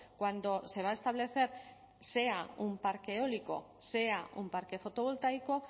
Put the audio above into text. cuando se va a establecer sea un parque eólico sea un parque fotovoltaico